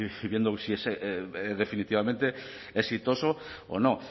y viendo si es definitivamente exitoso o no